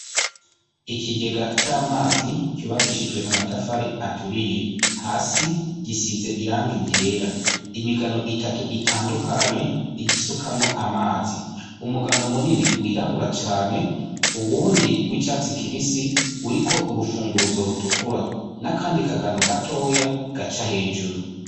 Ikigega c'amazi cubakishijwe amatafari aturiye. Hasi gisize irangi ryera. Imigano itatu itandukanye igisukamwo amazi. Umugano munini wirabura cane, uwundi w'icatsi kibisi uriko urufunguruzo rutukura. N'akandi kagano gatoya gaca hejuru.